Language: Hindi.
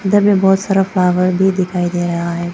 इधर भी बहुत सारा फ्लावर भी दिखाई दे रहा है।